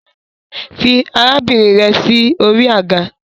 Fi arabinrin rẹ si ori aga